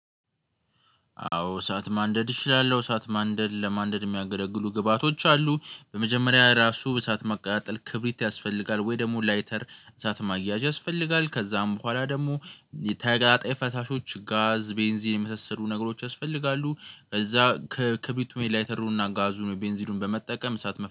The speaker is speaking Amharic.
አዎ እሳት ማንደድ እችላለሁ። እሳት ማንደድ ለማንደድ የሚያገለግሉ ግብአቶች አሉ። በመጀመሪያ ራሱ እሳት መቀጣጠል ክብሪት ያስፈልጋል ወይ? ደግሞ ላይተር እሳት ማያያዝ ያስፈልጋል። ከዛም በኋላ ደግሞ ተቀጣጣይ ፈሳሾች ጋዝ ቤንዚን የመሰሉ ነገሮች ያስፈልጋሉ። ከዛ ክብሪት ወይ ላይተሩንና ጋዙኑ ቤንዚኑን በመጠቀም እሳት መፍ ጠር